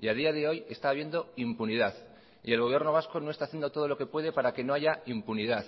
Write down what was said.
y a día de hoy está habiendo impunidad y el gobierno vasco no está haciendo todo lo que puede para que no haya impunidad